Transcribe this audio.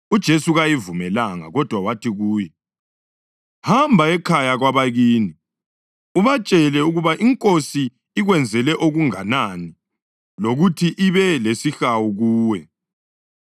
UJesu kayivumelanga, kodwa wathi kuyo, “Hamba ekhaya kwabakini ubatshele ukuba iNkosi ikwenzele okunganani, lokuthi ibe lesihawu kuwe.”